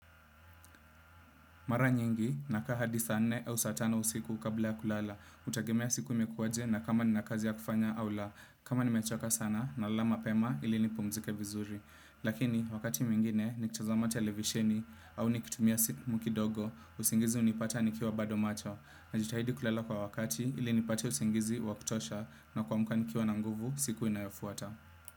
Mara nyingi nakaa hadi saa nne au satano usiku kabla ya kulala, utagemea siku imekuwaje na kama nina kazi ya kufanya au la, kama nimechoka sana na lala mapema ili ni pumzike vizuri. Lakini wakati mwingine ni kitazama televisheni au nikitumia simu kidogo, usingizi unipata nikiwa bado macho. Najitahidi kulala kwa wakati ili nipata usingizi wakutosha na kwamka nikiwa na nguvu siku inayofuata.